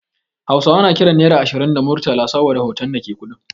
Hausawa suna kiran Naira ashirin da Murtala saboda hoton da ke kuɗin.